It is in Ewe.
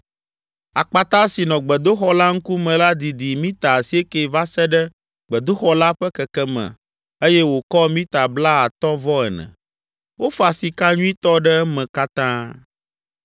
Akpata si nɔ gbedoxɔ la ŋkume la didi mita asieke va se ɖe gbedoxɔ la ƒe kekeme eye wòkɔ mita blaatɔ̃-vɔ-ene. Wofa sika nyuitɔ ɖe eme katã.